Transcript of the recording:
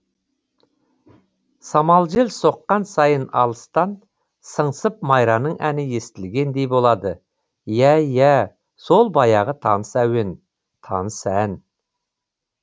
самал жел соққан сайын алыстан сыңсып майраның әні естілгендей болады иә иә сол баяғы таныс әуен таныс ән